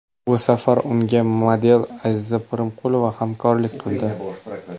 Bu safar unga model Aziza Primqulova hamrohlik qildi.